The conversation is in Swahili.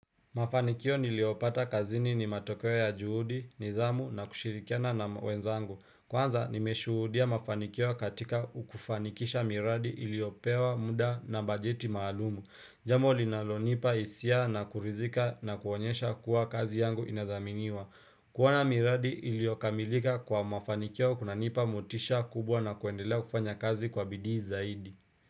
Mafanikio niliopata kazini ni matokeo ya juhudi, nidhamu na kushirikiana na wenzangu. Kwanza nimeshuhudia mafanikio katika kufanikisha miradi iliopewa muda na bajeti maalumu. Jambo linalonipa hisia na kuridhika na kuonyesha kuwa kazi yangu inadhaminiwa. Kuona miradi iliokamilika kwa mafanikio kunanipa motisha kubwa na kuendelea kufanya kazi kwa bidii zaidi.